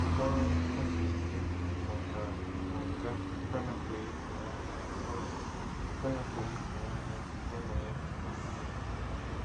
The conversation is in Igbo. Mkpọrọ afọ ise na ọkara n' nga anapụghị Ifunanya ọṅụ anapụghị Ifunanya ọṅụ ya na Nnewi!